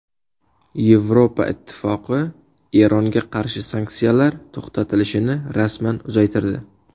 Yevropa Ittifoqi Eronga qarshi sanksiyalar to‘xtatilishini rasman uzaytirdi.